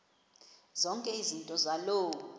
zonke izinto zaloo